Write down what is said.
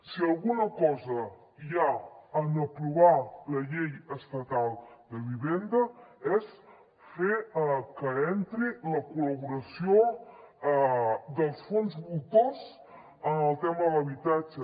si alguna cosa hi ha en aprovar la llei estatal de vivenda és fer que entri la col·laboració dels fons voltors en el tema de l’habitatge